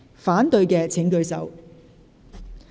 反對的請舉手。